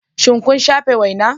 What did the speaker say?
Shin kun shafe wena?